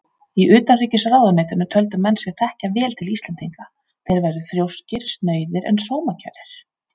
Í utanríkisráðuneytinu töldu menn sig þekkja vel til Íslendinga: þeir væru þrjóskir, snauðir en sómakærir.